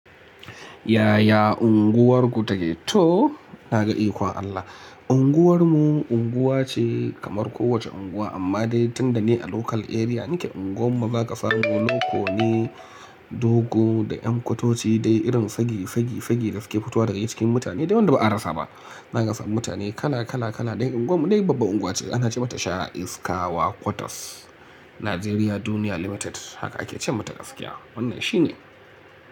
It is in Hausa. Yaya unguwarku take? Toh na gan ikon Allah. Unguwar mu unguwa ce kamar kowace unguwa amma dai tunda ni a local area. Nike unguwar mu za ka samu loko ne, dogo da 'yan kwatoci dai irin sagi sagi sagi da suke fitowa daga cikin mutane dai wanda ba a rasa ba. Za ka samun mutane kala kala kala dai unguwar mu dai babbar unguwa ce. Anace mata Sha'iskawa quarters, Najeriya duniya limited haka ake ce mata gaskiya. Wannan shi ne.